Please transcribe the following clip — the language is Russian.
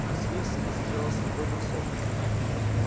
василиск сделал слепой бросок